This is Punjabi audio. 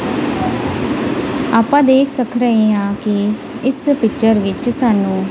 ਆਪਾਂ ਦੇਖ ਸਖ ਰਹੇਂ ਹਾਂ ਕਿ ਇਸ ਪਿੱਚਰ ਵਿੱਚ ਸਾਨੂੰ--